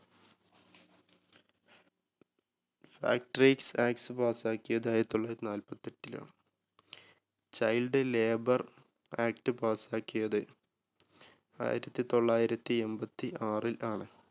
act pass ക്കിയത് ആയിരത്തി തൊള്ളായിരത്തി നാല്പത്തെട്ടിലാണ് child labour act pass ക്കിയത് ആയിരത്തി തൊള്ളായിരത്തി എമ്പത്തി ആറിൽ ആണ്.